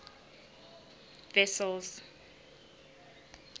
wessels